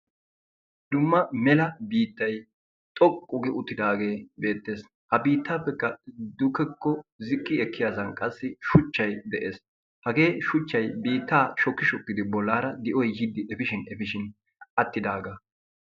Dumma mela biitay xoqqu gi uttidage beetes. Ha biitapeka dugeko ziqqi ekiyasan qassi shuchchay de'ees. Hagee shuchchay biita shoki shokidi bollara di'oy efishin atidaga/.